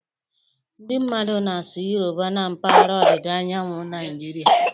Ndị mmadụ na-asụ Yoruba na mpaghara ọdịda anyanwụ Naijiria